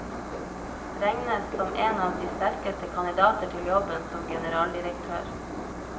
Regnes som en av de sterkeste kandidater til jobben som generaldirektør.